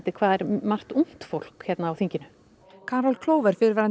hvað er margt ungt fólk hérna á þinginu carol Clover fyrrverandi